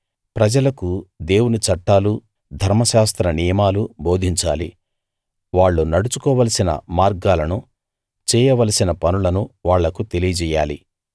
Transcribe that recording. ప్రజలకు దేవుని చట్టాలూ ధర్మశాస్త్ర నియమాలూ బోధించాలి వాళ్ళు నడుచుకోవలసిన మార్గాలను చేయవలసిన పనులనూ వాళ్ళకు తెలియజెయ్యాలి